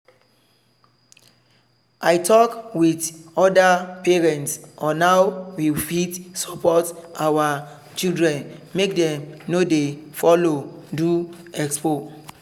i talk with other parents on how we fit support our children make dem no follow do expo.